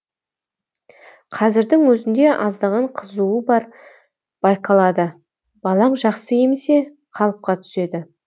қазірдің өзінде аздаған қызуы бар байқалады балаң жақсы емсе қалыпқа түседі